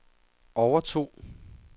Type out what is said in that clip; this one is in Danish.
overtog